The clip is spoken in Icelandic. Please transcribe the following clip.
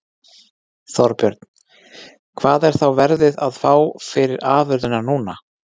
Þorbjörn: Hvað er þá verðið, að fá fyrir afurðina núna?